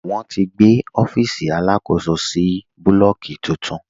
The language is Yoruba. Wọn ti gbé ọfiisi alákòsó sì búlọ́ọ̀kì tuntun.